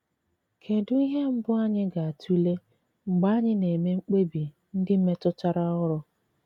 Kedụ ihe mbụ anyị ga - atụle mgbe anyị na - eme mkpebi ndị metụtara ọrụ?